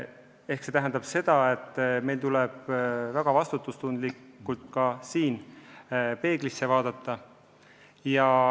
See tähendab seda, et meil tuleb siin väga vastutustundlikult peeglisse vaadata.